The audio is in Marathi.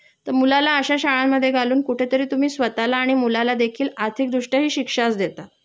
तर मुलाला अश्या शाळांमध्ये घालून कुठेतरी तुम्ही स्वतःला आणि मुलालादेखील आर्थिकदृष्टया हि शिक्षाच देता